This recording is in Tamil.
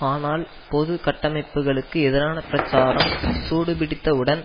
ஆனால் பொது கட்டமைப்புகளுக்கு எதிரான பிரச்சாரம் சூடுபிடித்தவுடன்